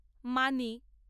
মানি